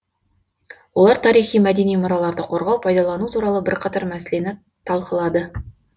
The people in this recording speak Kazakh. олар тарихи мәдени мұраларды қорғау пайдалану туралы бірқатар мәселені талқылады